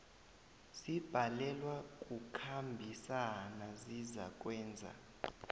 zibhalelwa kukhambisana zizakwenza